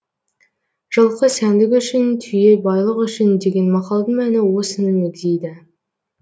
жылқы сәндік үшін түйе байлық үшін деген мақалдың мәні осыны мегзейді